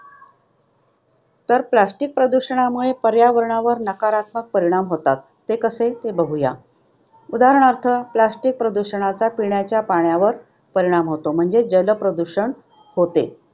तर plastic प्रदूषणामुळे पर्यावरणावर नकारात्मक परिणाम होतात ते कसे ते बघूयात. उदाहरणार्थ plastic प्रदूषणाचा पिण्याच्या पाण्यावर परिणाम होतो. म्हणजे जलप्रदूषण होते.